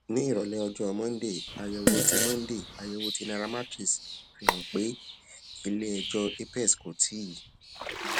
ní ìròlé ọjọ monday àyèwò tí monday àyèwò tí nairametrics ṣe fi hàn pé ilé ẹjọ apex kò tíì